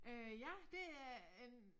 Øh ja det er en